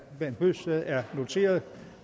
bent bøgsted er noteret